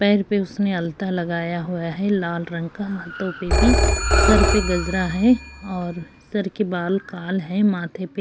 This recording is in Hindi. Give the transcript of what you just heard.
पैर पे उसने अलता लगाया हुआ है लाल रंग का हाथों पे भी सर पे गजरा हैं और सर के बाल काल हैं। माथे पे --